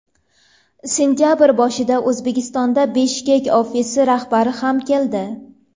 Sentabr boshida O‘zbekistonga Bishkek ofisi rahbari ham keldi.